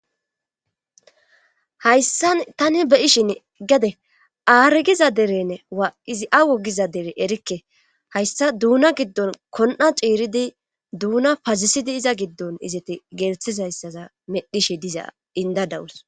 Hayssan tani be'ishin gede aargiza derenn waa izi awo giza dere erikke hayssa duuna giddon kon'a ciiridi duuna pazisidi iza giddon izeti geerethis hayssaza medhishi diza indadawus.